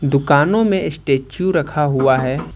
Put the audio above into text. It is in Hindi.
दुकानों में स्टैच्यू रखा हुआ है।